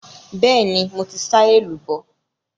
Bẹ́ẹ̀ni, mo ti sá èlùbọ́.